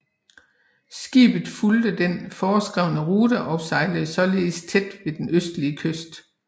Skibet fulgte den foreskrevne rute og sejlede således tæt ved den østlige kyst